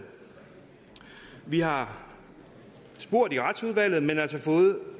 vi har spurgt i retsudvalget men har altså fået